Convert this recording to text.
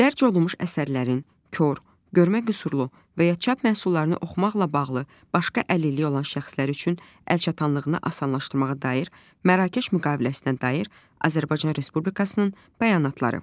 Dərc olunmuş əsərlərin kor, görmə qüsurlu və ya çap məhsullarını oxumaqla bağlı başqa əlilliyi olan şəxslər üçün əlçatanlığını asanlaşdırmağa dair Mərakeş müqaviləsinə dair Azərbaycan Respublikasının bəyanatları.